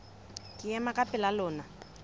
ke ema ka pela lona